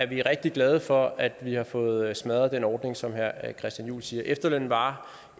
vi rigtig glade for at vi har fået smadret den ordning som herre christian juhl siger efterlønnen var